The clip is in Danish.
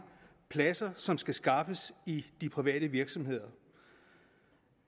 pladser som skal skaffes i de private virksomheder